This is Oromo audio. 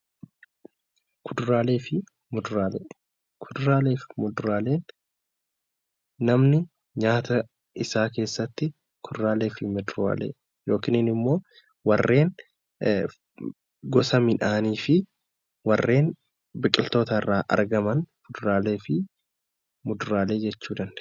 Kuduraalee fi muduraaleen namni nyaata isaa keessatti kuduraalee fi muduraalee yookiin immoo warreen gosa midhaanii fi warreen biqiltoota irraa argaman kuduraalee fi muduraalee jechuu ni dandeenya.